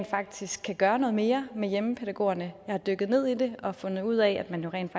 faktisk kan gøre noget mere med hjemmepædagogerne jeg har dykket ned i det og fundet ud af at man jo rent